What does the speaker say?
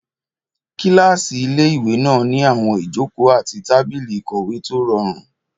Kílásì ilé-ìwé náà ní àwọn ìjòkó àti tábìlì ìkọ̀wé tó rọrùn